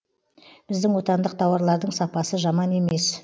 біздің отандық тауарлардың сапасы жаман емес